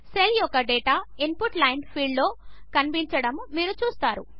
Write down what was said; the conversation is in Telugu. సెల్ యొక్క డేటా ఇన్పుట్ లైన్ ఫీల్డ్లో కనిపించడము మీరు చూస్తారు